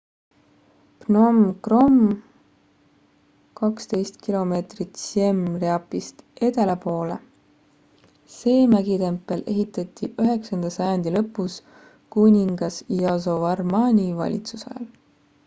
phnom krom 12 km siem reapist edela poole see mägitempel ehitati 9 sajandi lõpus kuningas yasovarmani valitsusajal